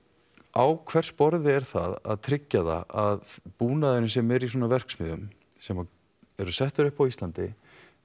á hvers borði er það að tryggja það að búnaðurinn sem er í svona verksmiðjum sem eru settar upp á Íslandi